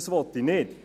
Das will ich nicht.